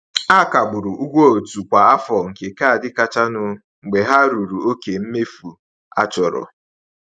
A kagburu ụgwọ otu kwa afọ nke kaadị kachanụ mgbe ha ruru oke mmefu a chọrọ.